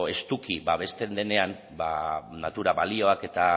estuki babesten denena natura balioak eta